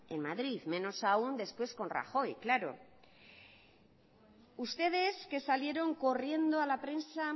en madrid menos aún después con rajoy claro ustedes que salieron corriendo a la prensa